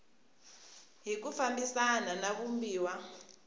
hi ku fambisana na vumbiwa